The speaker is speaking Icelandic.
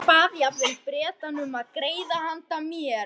Hann bað jafnvel Bretana um grið handa mér.